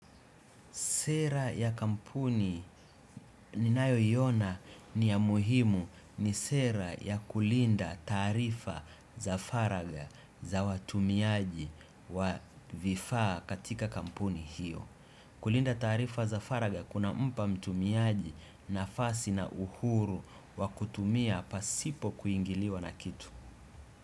Sera ya kampuni ninayoiona ni ya muhimu ni sera ya kulinda taarifa za faragha za watumiaji wa vifaa katika kampuni hiyo. Kulinda taarifa za faragha kunampa mtumiaji nafasi na uhuru wa kutumia pasipo kuingiliwa na kitu.